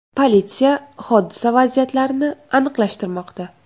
Politsiya hodisa vaziyatlarini aniqlashtirmoqda.